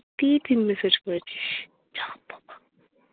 তুই-ই তিন message করেছিস। যাহ বাবা